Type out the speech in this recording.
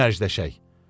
Gəl mərcələşək.